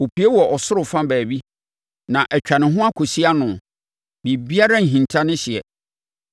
Ɛpue wɔ ɔsoro fa baabi na atwa ne ho akɔsi ano; biribiara nhinta ne hyeɛ.